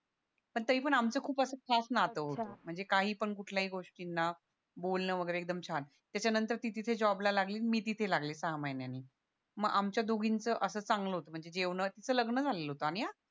पण तरी पण आमचं असं खास नातं होत म्हणजे काही पण कुठल्या पण गोष्टींना बोलणं वैगेरे एकदम छान त्याच्या नंतर तिथे जॉबला लागली मुं तिथे लागले सहा महिन्याने म आमच्या दोघींच असं चांगलं होत म्हणजे तिचं लग्न झालेलं होत आणि हा